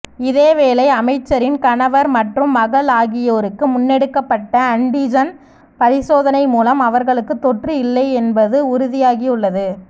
இதேவேளை அமைச்சரின் கணவர் மற்றும் மகள் ஆகியோருக்கு முன்னெடுக்கப்பட்ட அன்டிஜன் பரிசோதனை மூலம் அவர்களுக்கு தொற்று இல்லை என்பது உறுதியாகியுள்ளது